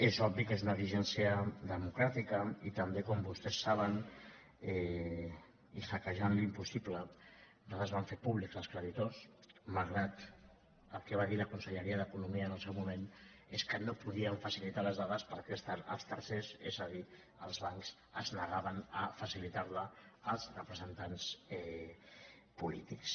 és obvi que és una exigència democràtica i també com vostès saben i hackejant l’impossible nosaltres vam fer públics els creditors malgrat que el que va dir la conselleria d’economia en el seu moment és que no podíem facilitar les dades als tercers és a dir els bancs es negaven a facilitar la als representants polítics